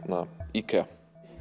IKEA